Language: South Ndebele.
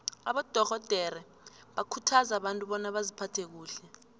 abadorhodere bakhuthaza abantu bona baziphathe kuhle